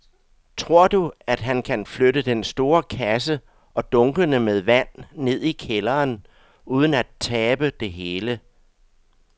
Tror du, at han kan flytte den store kasse og dunkene med vand ned i kælderen uden at tabe det hele?